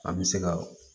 An bɛ se ka